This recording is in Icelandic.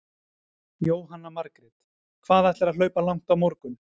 Jóhanna Margrét: Hvað ætlarðu að hlaupa langt á morgun?